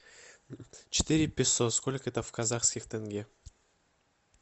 четыре песо сколько это в казахских тенге